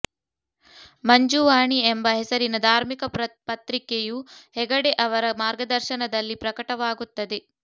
ಮಂಜುವಾಣಿ ಎಂಬ ಹೆಸರಿನ ಧಾರ್ಮಿಕ ಪತ್ರಿಕೆಯೂ ಹೆಗಡೆ ಅವರ ಮಾರ್ಗದರ್ಶನದಲ್ಲಿ ಪ್ರಕಟವಾಗುತ್ತದೆ